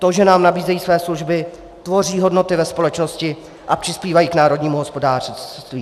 To, že nám nabízejí své služby, tvoří hodnoty ve společnosti a přispívají k národnímu hospodářství.